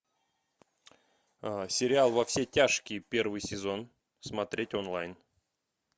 сериал во все тяжкие первый сезон смотреть онлайн